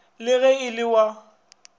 le ge e le wa